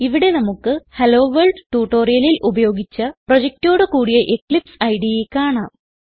ഇവിടെ നമുക്ക് ഹെല്ലോവർൾഡ് ട്യൂട്ടോറിയലിൽ ഉപയോഗിച്ച പ്രൊജക്റ്റോട് കൂടിയ എക്ലിപ്സ് ഇടെ കാണാം